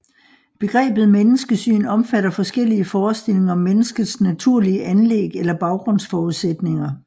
Begrebet menneskesyn omfatter forskellige forestillinger om menneskets naturlige anlæg eller baggrundsforudsætninger